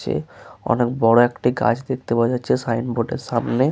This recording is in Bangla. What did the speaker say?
যে অনেক বড় একটা গাছ দেখতে পাওয়া যাচ্ছে। সাইন বোর্ড -এর সামনে।